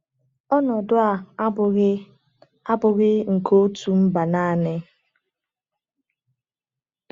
Ọnọdụ a abụghị a abụghị nke otu mba naanị.